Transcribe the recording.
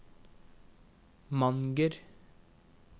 Manger